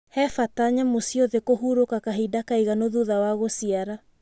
He bata nyamũ ciothe kũhurũka kahinda kaiganu thutha wa gũciara.